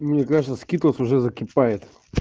мне кажется скитлс уже закипает